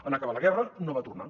en acabar la guerra no va tornar